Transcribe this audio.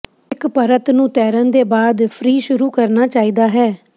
ਇੱਕ ਪਰਤ ਨੂੰ ਤੈਰਨ ਦੇ ਬਾਅਦ ਫ੍ਰੀ ਸ਼ੁਰੂ ਕਰਨਾ ਚਾਹੀਦਾ ਹੈ